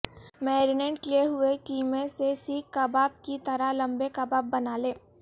marinate کئے ہوئے قیمے سے سیخ کباب کی طرح لمبے کباب بنالیں